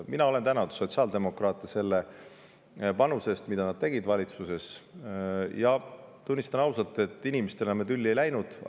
Mina olen tänanud sotsiaaldemokraate selle panuse eest, mida nad tegid valitsuses, ja tunnistan ausalt, et inimestena me tülli ei läinud.